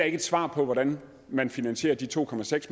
ikke et svar på hvordan man finansierer de to